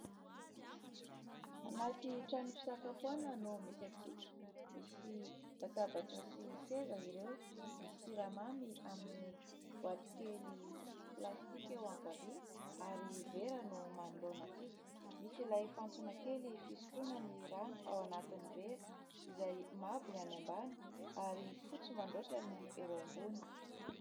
Anaty trano fisakafoana no misy antsika. Misy latabatra sy seza ireo, misy siramamy amin' ny boaty kely plastika eo ankavia ary vera no manoloana antsika. Misy ilay fantsona kely fisotroana ny rano ao anatin' ny vera izay mavo ny any ambany, ary fotsy mandroatra ny eo ambony.